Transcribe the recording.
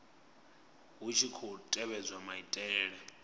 hu tshi khou tevhedzwa maitele